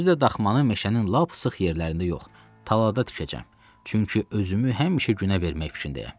Özü də daxmanı meşənin lap sıx yerlərində yox, talada tikəcəm, çünki özümü həmişə günə vermək fikrindəyəm.